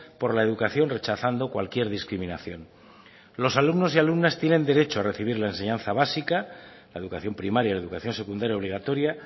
por la educación rechazando cualquier discriminación los alumnos y alumnas tienen derecho a recibir la enseñanza básica la educación primaria y la educación secundaria obligatoria